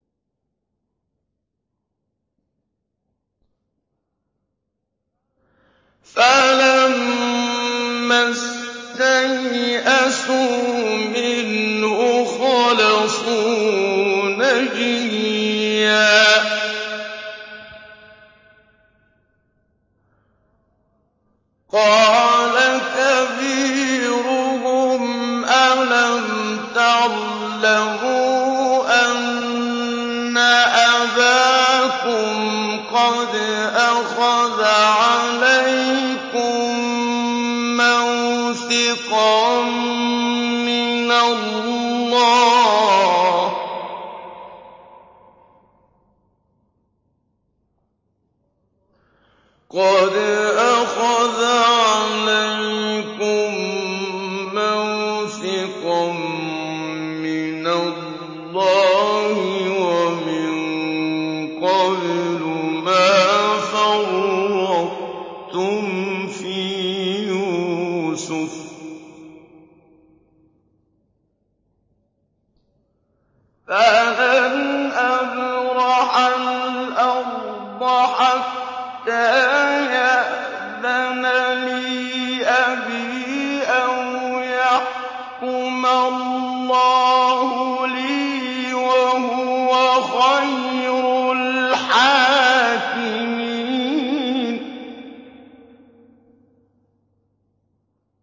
فَلَمَّا اسْتَيْأَسُوا مِنْهُ خَلَصُوا نَجِيًّا ۖ قَالَ كَبِيرُهُمْ أَلَمْ تَعْلَمُوا أَنَّ أَبَاكُمْ قَدْ أَخَذَ عَلَيْكُم مَّوْثِقًا مِّنَ اللَّهِ وَمِن قَبْلُ مَا فَرَّطتُمْ فِي يُوسُفَ ۖ فَلَنْ أَبْرَحَ الْأَرْضَ حَتَّىٰ يَأْذَنَ لِي أَبِي أَوْ يَحْكُمَ اللَّهُ لِي ۖ وَهُوَ خَيْرُ الْحَاكِمِينَ